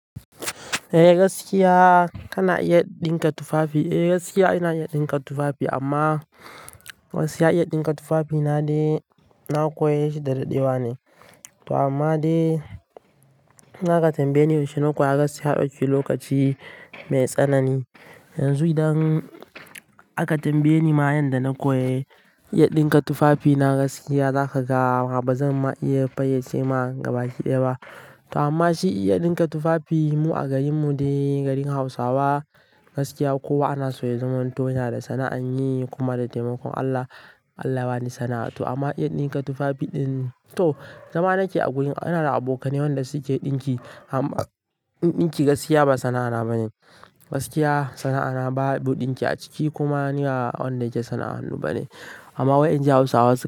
Eh gaskiya kana iya ɗinka tufafi. Eh gaskiya ina iya ɗinka tufafi amma gaskiya iya ɗinka tufafi na dai na koyashi da daɗewa ne. To amma dai in aka tambaye ni yaushe na koya gaskiya ya ɗauki lokaci mai tsanani. Yanzu idan aka tambaye ni ma yanda na koyi iya ɗinka tufafi na gaskiya zaka ga ba zan ma iya fayyace ma gaba ɗaya ba. To amma shi iya ɗinka tufafi mu a garin mu dai garin Hausawa gaskiya kowa ana so ya zama danto yana da sana'an yi kuma da taimakon Allah, Allah bani sana'a. To amma iya ɗinka tufafi ɗin to zama na ke a gurin ana da abokanai wanda su ke ɗinki amm ni ɗinki gaskiya ba sana'ana bane. Gaskiya sana'ana ba ɗu ɗinki a ciki kuma ni wa wanda yake sana'an ba ne. Amma wai in ji Hausawa suna.